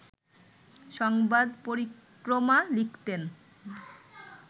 সংবাদ পরিক্রমা লিখতেন